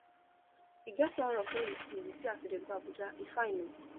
e get one rock wey we see we see as we dey go abuja e fine o